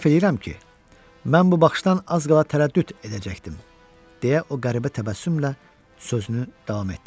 Etiraf eləyirəm ki, mən bu baxışdan az qala tərəddüd edəcəkdim deyə o qəribə təbəssümlə sözünü davam etdirdi.